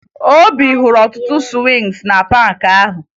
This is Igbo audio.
Obi hụrụ ọtụtụ sụwịngị na paakị ahụ